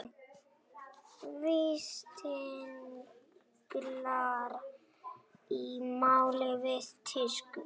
Vítisenglar í mál við tískuhús